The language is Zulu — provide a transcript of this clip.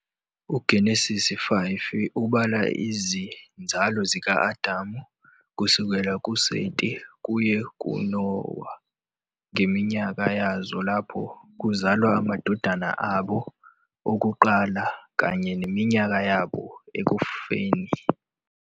UGenesise 5 ubala izinzalo zika-Adamu kusukela kuSeti kuye kuNowa ngeminyaka yazo lapho kuzalwa amadodana abo okuqala kanye neminyaka yabo ekufeni.